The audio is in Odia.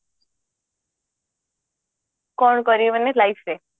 କଣ କରିବି ମାନେ life ରେ